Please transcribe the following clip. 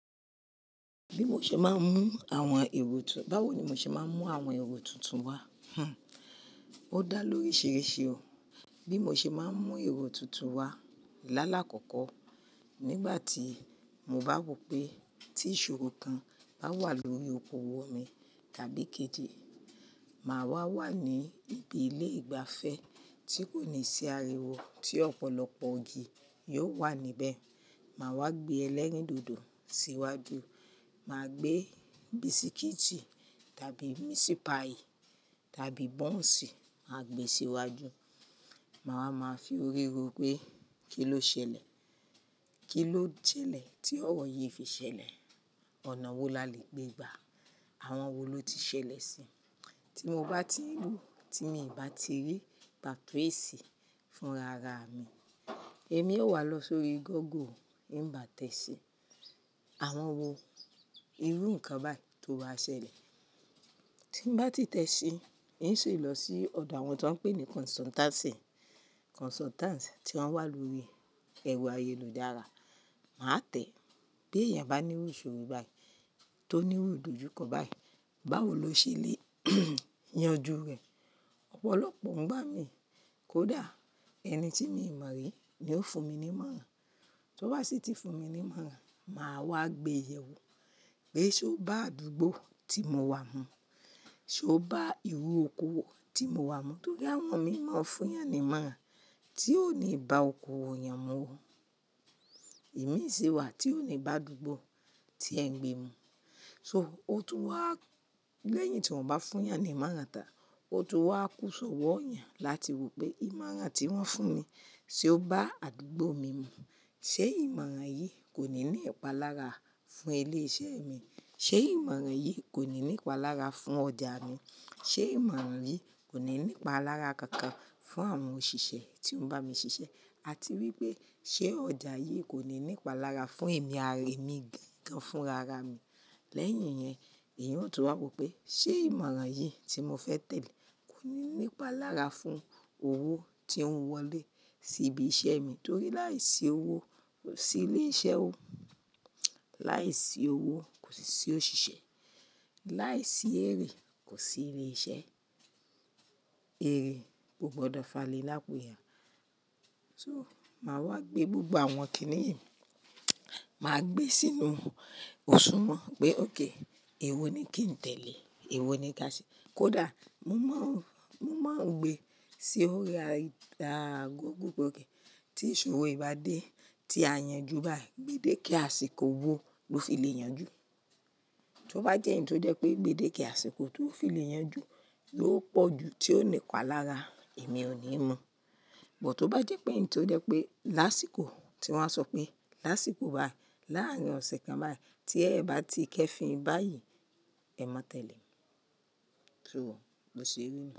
Bí mo ṣe máa ń mú àwọn èrò tuntun, báwo ni mo ṣe máa ń mú àwọn èrò tuntun wá? Hhn, ó dá lóríṣiríṣi o. Bí mo ṣe máa ń mú èrò tuntun wá lálàkọ́kọ́ nígbà tí mo bá wò pé tí ìṣòro kan bá wà lórí okoòwò mi tàbí kejì, màá wà wà ní ibi ilé ìgbafẹ́ tí kò ní sí ariwo, tí ọ̀pọ̀lọpọ̀ igì yóò wà níbẹ̀. Màá wá gbé ẹlẹ́rìndòdò síwájú, màá gbé bisikíìtì tàbí misipai tàbí bọ́ǹsì, màá gbé e síwájú. Máa wá má forí ro pé, kilo ṣẹlẹ̀. Kí ló jẹ́lẹ̀ tí ọ̀wọ̀ yìí fi ṣẹlẹ̀? Ọ̀nà wo la le gbé gbà? Àwọn wo ló ti ṣẹlẹ̀ si? Tí mo bá ti lù, tí n ò bá ti rí pàtó ésì fún rara mi, èmi ó wá lọ sórí Google, n ba tẹ́si. Àwọn wo, irú nǹkan báyìí tó ba ṣẹlẹ̀? Tí n bá ti tẹ́si, n si lọ̀ sí ọ̀dọ̀ àwọn tó ń pè ní kọnsùtáǹsì, kọ̀nsùtáǹsì tí wọ́n wà lórí ẹrọ ayélujára. Máa tẹ, bí èèyàn bá ní iru ìṣòro bai, tó ní irú ìdojúkọ bai, báwo lo ṣe lè yanjú rẹ̀. Ọ̀pọ̀lọpọ̀ ngba mí kódà ẹni tí mi i mọ̀ rí ni ó fún mi ní ìmọ̀ràn. To bá sì ti fún mi ní ìmọ̀ràn, màá wá gbé yẹ̀wo pé ṣé ó bá àdúgbò tí mo wà mú? Ṣé ó bá ìrú okoòwò tí mo wà mú? Nítorí àwọn mí mọ̀ fún yàn ìmọ̀ràn tí ò ní bá okoòwò èèyàn mu. Èmi sì wà tí ò ní bá àdúgbò tí ẹ ń gbé mú. So, ó tún wá lẹ́yìn tí wọ́n bá fún yàn ni ìmọ̀ràn tàn, ó tún wá kú sọ̀wọ́ èèyàn láti wò pé ìmọ̀ràn tí wọ́n fún mi ṣé ó bá àdúgbò mi mú. Ṣé ìmọ̀ràn yìí kò ní ní ìpalára fún ilé iṣẹ́ mi? Ṣé ìmọ̀ràn yìí kò ní ní ìpalára fún ọjà mi? Ṣé ìmọ̀ràn yìí kò ní ní ìpalára kankan fún àwọn òṣìṣẹ́ tí ó ń bá mi ṣiṣẹ́? Àti wí pé ṣé ọjà yìí kò ní ní ìpalára fún èmi ara èmi gangan fún rara mi? Lẹ́yìn ìyẹn, èèyàn ó tún wá wò pé, ṣe ìmọ̀ràn yi tí mo fẹ tẹle, kò ní ní ìpalára fún owó tí ń wọlé síbi iṣẹ́ mi nítorí láìsí owó kò sí ilé iṣẹ́ ó. Láì sí owó, kosi si òṣìṣẹ́. Láìsí èrè kò sí ilé iṣẹ́. Èrè, kò gbọdọ fani lapọ ya. So, màá wá gbé gbogbo àwọn kíní yìí, màá gbé sínú òṣùwọ̀n pé ok, èwo ni kí n tẹ̀lé. Ewo ni ka ṣe. Kódà mo mọ̀ ń, mo mọ̀ ń gbé sí orí Google. Tí ìṣòro yìí bá dé, tí a yanjú báyìí, gbédéké àsìkò wo ló fi le yanjú? Tí ó bá jẹ́ eyì tó jẹ́ pé gbédéké àsìkò tó fi le yanjú ló pọ̀ ju tí ó ní ìpalára, èmi ò ní mu. But tí ó bá jẹ́ pé èyí tó jẹ́ pé lásìkò tí wọ́n á sọ pé lásìkò báyìí, láárín ọ̀sẹ̀ kan báyìí tí ẹ bá ti kẹ́efin báyìí, ẹ mọ̀ tẹ́le. So, bo ṣe rí nu.